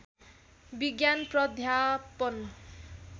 विज्ञान प्राध्यापन